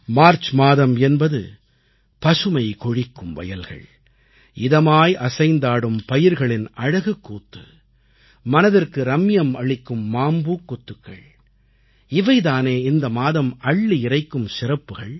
March மாதம் என்பது பசுமை கொழிக்கும் வயல்கள் இதமாய் அசைந்தாடும் பயிர்களின் அழகுக்கூத்து மனதிற்கு ரம்மியம் அளிக்கும் மாம்பூக்கொத்துக்கள் இவை தானே இந்த மாதம் அள்ளி இறைக்கும் சிறப்புக்கள்